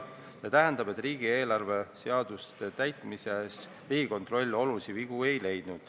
See tähendab, et riigieelarve seaduste täitmises Riigikontroll olulisi vigu ei leidnud.